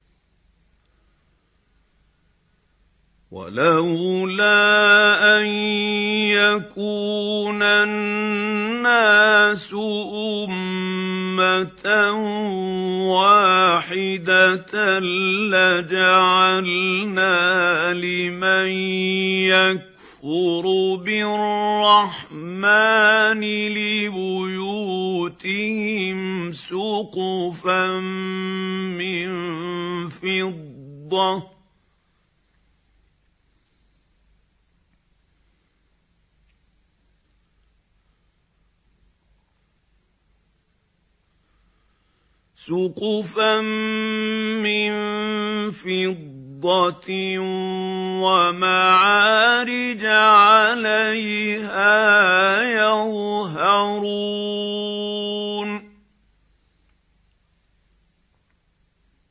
وَلَوْلَا أَن يَكُونَ النَّاسُ أُمَّةً وَاحِدَةً لَّجَعَلْنَا لِمَن يَكْفُرُ بِالرَّحْمَٰنِ لِبُيُوتِهِمْ سُقُفًا مِّن فِضَّةٍ وَمَعَارِجَ عَلَيْهَا يَظْهَرُونَ